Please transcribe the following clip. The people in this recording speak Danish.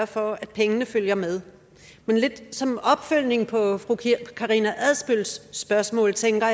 for at pengene følger med men lidt som en opfølgning på fru karina adsbøls spørgsmål tænker